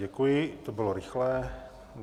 Děkuji, to bylo rychlé.